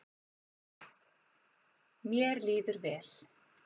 Mér líður vel.